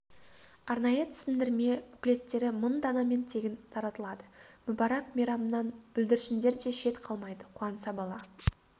арнайы түсіндірме буклеттері мың данамен тегін таратылады мүбарак мейрамнан бүлдіршіндер де шет қалмайды қуанса бала